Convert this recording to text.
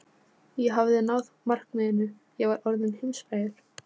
Ég hafði náð markmiðinu: Ég var orðinn heimsfrægur.